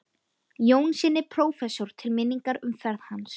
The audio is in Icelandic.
Jónssyni prófessor til minningar um ferð hans.